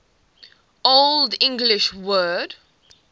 old english word